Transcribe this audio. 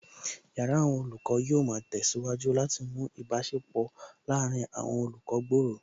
Yàrá àwọn olùkọ́ yóò ma tẹ̀síwájú láti mú ìbáṣepọ̀ láàárín àwọn olùkọ́ gbòòrò